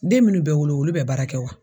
Den minnu bɛ wolo olu bɛ baara kɛ wa?